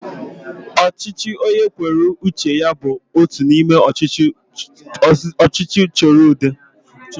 Ọchịchị onye kwuru uche ya bụ otu n'ime usoro ọchịchị udo